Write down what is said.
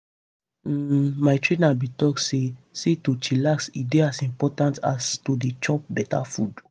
hmm my trainer bin talk say say to chillax e dey as important as to dey chop beta food.